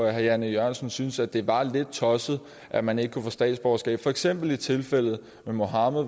herre jan e jørgensen syntes at det var lidt tosset at man ikke kunne få statsborgerskab for eksempel i tilfældet med mohamad